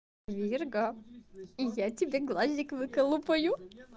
ирга и я тебе глазик выколупаю